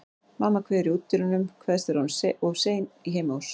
Mamma kveður í útidyrunum, kveðst vera orðin of sein í heimahús.